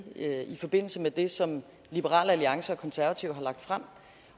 i forbindelse med det som liberal alliance og de konservative har lagt frem